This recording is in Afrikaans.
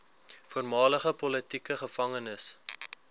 voormalige politieke gevangenes